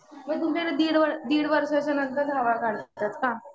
मग तुमच्याकडे दिड वर्षाच्या नंतर जावळ काढतात का?